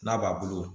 N'a b'a bolo